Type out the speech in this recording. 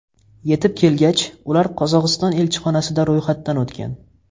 Yetib kelgach, ular Qozog‘iston elchixonasida ro‘yxatdan o‘tgan.